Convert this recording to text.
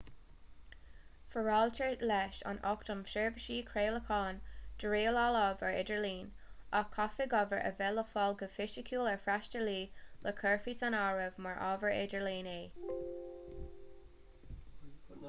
foráiltear leis an acht um sheirbhísí craolacháin do rialáil ábhar idirlín ach caithfidh ábhar a bheith le fáil go fisiciúil ar fhreastalaí le go gcuirfí san áireamh mar ábhar idirlín é